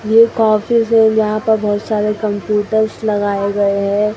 एक ऑफिस है यहां पर बहोत सारे कंप्यूटर्स लगाए गए हैं।